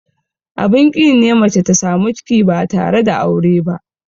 Abin ƙi ne mace ta samu ciki ba tare da aure ba.